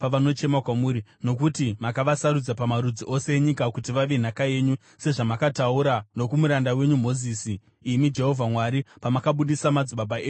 Nokuti makavasarudza pamarudzi ose enyika kuti vave nhaka yenyu, sezvamakataura nokumuranda wenyu Mozisi, imi Jehovha Mwari, pamakabudisa madzibaba edu kubva muIjipiti.”